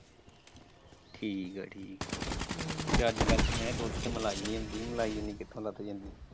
ਠੀਕ ਹੈ ਜੀ ਹਮ ਨਹੀਂ ਤੇ ਅੱਜ ਕੱਲ ਤੇ ਮੈਂ ਕਿਹਾ ਦੁੱਧ ਤੇ ਮਲਾਈ ਨਹੀਂ ਹੁੰਦੀ ਮਲਾਈ ਇੰਨੀ ਕਿੱਥੋਂ ਲੱਭ ਜਾਂਦੀ?